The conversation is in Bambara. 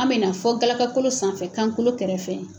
An bɛna fɔ gakakolo sanfɛ kankolo kɛrɛfɛ.